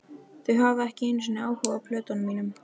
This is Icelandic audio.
Þau hafa ekki einu sinni áhuga á plötunum mínum.